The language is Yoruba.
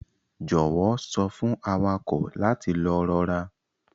Jọwọ sọ fun awakọ lati lọ rọra.